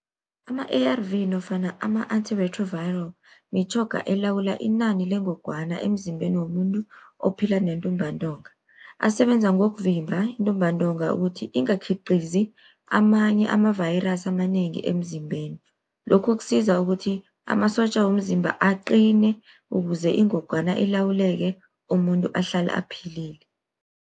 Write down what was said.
Ama-A_R_V nofana ama-antiretroviral, mitjhoga elawula inani lengogwana emzimbeni womuntu ophila nentumbantonga. Asebenza ngokuvimba intumbantonga, ukuthi ingakhiqizi amanye ama-virus amanengi emzimbeni. Lokhu kusiza ukuthi amasotja womzimba aqine, ukuze ingogwana ilawuleke umuntu ahlale aphilile.